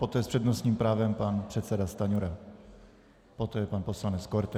Poté s přednostním právem pan předseda Stanjura, poté pan poslanec Korte.